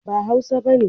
ba hausa bane